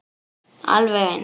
Alveg eins.